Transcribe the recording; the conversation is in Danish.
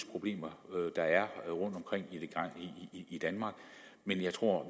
problemer der er rundtomkring i danmark men at jeg tror